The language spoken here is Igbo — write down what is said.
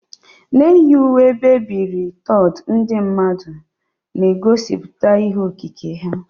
Na-eyi uwe e biri ebi 3D, ndị mmadụ ga-egosipụta ihe okike ha.